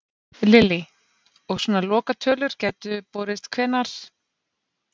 Lillý: Og svona lokatölur gætu borist hvenær?